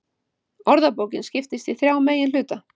Orðabókin skiptist í þrjá meginhluta.